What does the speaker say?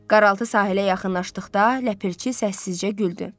Qaraltı sahilə yaxınlaşdıqda ləpirçi səssizcə güldü.